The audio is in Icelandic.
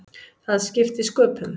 Það skipti sköpum.